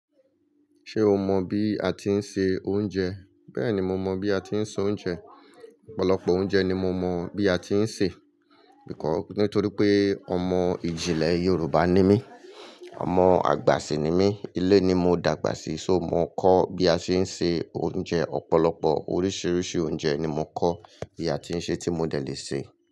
Ṣé o mọ bí a tí ń se oúnjẹ? Bẹ́ẹ̀ni mo mọ bí a tí ń se oúnjẹ. Ọ̀pọ̀lọpọ̀ oúnjẹ ni mo mọ bí a tí ń sè. Nítorí pé ọmọ ìjìnlẹ̀ Yorùbá ni mí, ọmọ àgbà sì ni mí, ilé ni mo dàgbà sí, só mo kọ́ bí a ṣe ń se oúnjẹ. Ọ̀pọ̀lọpọ̀ oríṣiríṣi oúnjẹ ni mo kọ́ bí a tí ń sè tí mo dẹ̀ le sè.